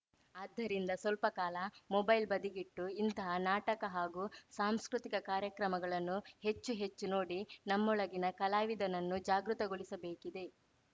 ಆದ್ದರಿಂದ ಸ್ವಲ್ಪ ಕಾಲ ಮೊಬೈಲ್‌ ಬದಿಗಿಟ್ಟು ಇಂತಹ ನಾಟಕ ಹಾಗು ಸಾಂಸ್ಕೃತಿಕ ಕಾರ್ಯಕ್ರಮಗಳನ್ನು ಹೆಚ್ಚು ಹೆಚ್ಚು ನೋಡಿ ನಮ್ಮೊಳಗಿನ ಕಲಾವಿದನನ್ನು ಜಾಗೃತಗೊಳಿಸಬೇಕಿದೆ